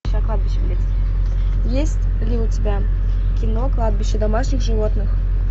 есть ли у тебя кино кладбище домашних животных